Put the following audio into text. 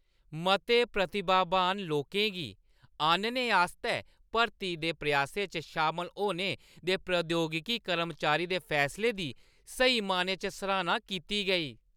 मते प्रतिभावान लोकें गी आह्‌नने आस्तै भर्ती दे प्रयासें च शामल होने दे प्रौद्योगिकी कर्मचारी दे फैसले दी स्हेई मैह्‌नें च सराह्‌ना कीती गेई।